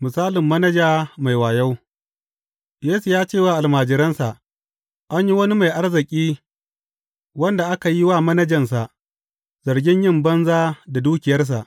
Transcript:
Misalin manaja mai wayo Yesu ya ce wa almajiransa, An yi wani mai arziki wanda aka yi wa manajansa zargin yin banza da dukiyarsa.